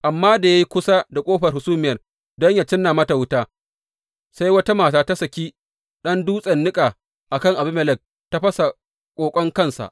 Amma da ya yi kusa da ƙofar hasumiyar don yă cinna mata wuta, sai wata mata ta saki ɗan dutsen niƙa a kan Abimelek ta fasa ƙoƙon kansa.